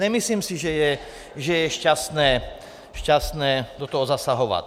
Nemyslím si, že je šťastné do toho zasahovat.